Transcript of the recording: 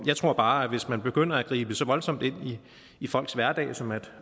jeg tror bare at hvis man begynder at gribe så voldsomt ind i folks hverdag som at